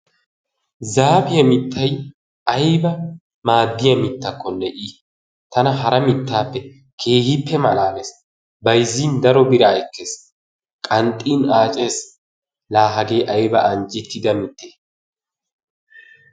Zaapiyaa miittay ayba maaddiyaa miitakonne i! Tana hara mittaappe keehippe malaalees. Bayzzin daro biraa ekkees. Qanxxiin accees. La hagee ayba anjettida mittee!